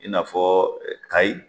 I n'a fɔ Kayi.